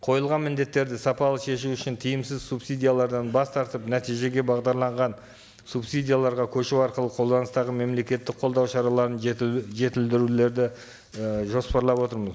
қойылған міндеттерді сапалы шешу үшін тиімсіз субсидиялардан бас тартып нәтижеге бағдарланған субсидияларға көшу арқылы қолданыстағы мемлекеттік қолдау шараларын жетілдірулерді і жоспарлап отырмыз